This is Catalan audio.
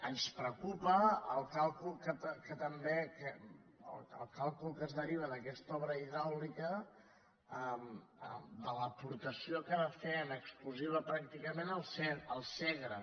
ens preocupa el càlcul que també el càlcul que es deriva d’aquesta obra hidràulica de l’aportació que va fer en exclusiva pràcticament el segre